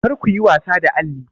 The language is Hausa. Kar kuyi wasa da alli!